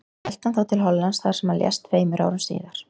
Hélt hann þá til Hollands þar sem hann lést tveimur árum síðar.